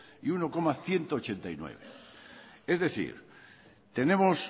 y uno coma ciento ochenta y nueve es decir tenemos